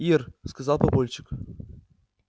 ир сказал папульчик